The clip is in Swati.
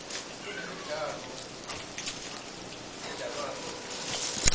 kunemidlalo ledlalwako yesintfu